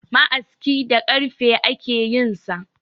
Ma'aski da karfe ake yinsa